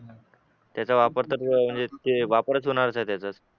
त्याचा वापर तर म्हणजे वापरच होणार होता त्याचा